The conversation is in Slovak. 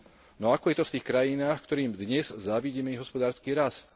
No ako je to v tých krajinách, ktorým dnes závidíme ich hospodársky rast